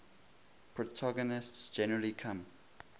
protagonists generally come